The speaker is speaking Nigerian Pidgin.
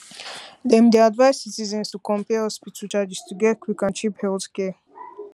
dem dey advise citizens to compare hospital charges to get quick and cheap healthcare